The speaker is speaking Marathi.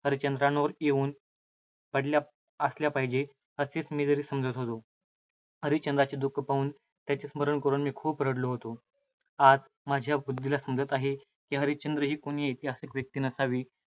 हरिश्चंद्रावर येऊन पडल्या असल्या पाहिजेत, असेच मी तरी समजत होतो. हरिश्चंद्राचे दुःख पाहून, त्याचे स्मरण करून मी खूप रडलो आहे. आज माझ्या बुद्धीला समजत आहे, की हरिश्चंद्र ही कोणी ऐतिहासिक व्यक्ती नसावी.